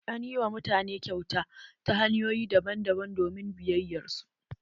An ƴi wa mutane kyauta ta hanyoƴi daban daban domin biyayyar su.